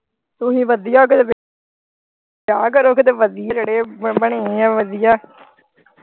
ਤੁਸੀਂ ਵਧੀਆ ਕਰੋ ਜਿਹੜੇ ਵਧੀਆ ਬਣੇ ਆ ਵਧੀਆ।